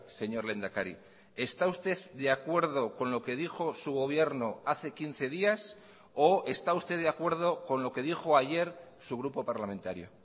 señor lehendakari está usted de acuerdo con lo que dijo su gobierno hace quince días o está usted de acuerdo con lo que dijo ayer su grupo parlamentario